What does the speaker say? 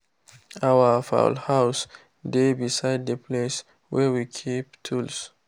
our fowl house dey beside the place wey we keep tools.